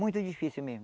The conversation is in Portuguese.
Muito difícil mesmo.